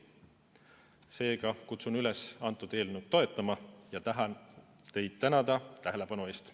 Seega kutsun üles eelnõu toetama ja tahan teid tänada tähelepanu eest.